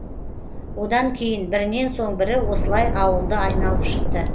одан кейін бірінен соң бірі осылай ауылды айналып шықты